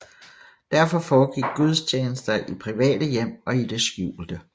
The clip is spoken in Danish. Derfor foregik gudstjenester i private hjem og i det skjulte